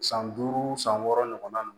San duuru san wɔɔrɔ ɲɔgɔn